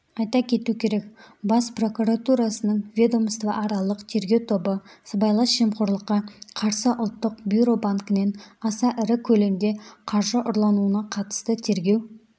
айта кету керек бас прокуратурасының ведомствоаралық тергеу тобы сыбайлас жемқорлыққа қарсы ұлттық бюро банкінен аса ірі көлемде қаржы ұрлануына қатысты тергеу